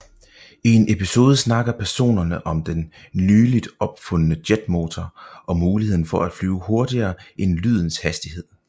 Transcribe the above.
I en episode snakker personerne om den nyligt opfundne jetmotor og muligheden for at flyve hurtigere end lydens hastighed